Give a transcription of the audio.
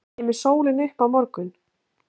Kemur sólin upp á morgun?